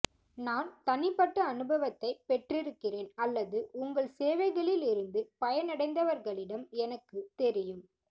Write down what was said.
நான் தனிப்பட்ட அனுபவத்தைப் பெற்றிருக்கிறேன் அல்லது உங்கள் சேவைகளிலிருந்து பயனடைந்தவர்களிடம் எனக்குத் தெரியும்